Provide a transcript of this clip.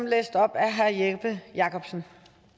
læst op af herre jeppe jakobsen